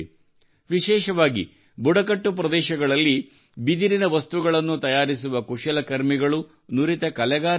ವಿಶೇಷವಾಗಿ ಬುಡಕಟ್ಟು ಪ್ರದೇಶಗಳಲ್ಲಿ ಬಿದಿರಿನ ವಸ್ತುಗಳನ್ನು ತಯಾರಿಸುವ ಕುಶಲಕರ್ಮಿಗಳು ನುರಿತ ಕಲೆಗಾರರಿದ್ದಾರೆ